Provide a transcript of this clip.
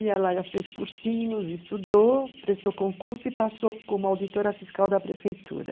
Ela fez cursinhos, estudou, prestou concurso e passou como auditora fiscal da prefeitura.